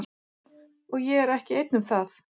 Og ég er ekki einn um það.